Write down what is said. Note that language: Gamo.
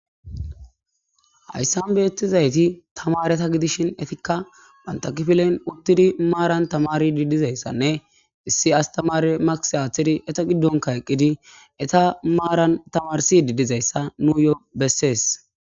Hayssan beettizayti tamareta gidishin etikka bantakfilen uttidi maaran tamari didizayssanne issi astamare makis aaththidi eta giddonka eqqidi eta maaran tamarsi didizayssa nu yo bessees.